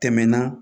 Tɛmɛna